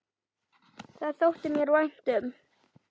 Það þótti mér vænt um